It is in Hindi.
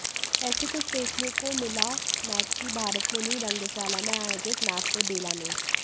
ऐसा ही कुछ देखने को मिला मैक की भरतमुनि रंगशाला में आयोजित नाट्य बेला में